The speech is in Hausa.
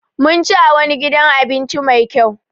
Mun ci a wani gidan abinci Mai kyau.